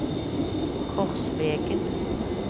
Korsvegen